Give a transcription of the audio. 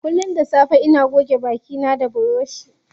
Kullum da safe ina goge baki na da buroshi.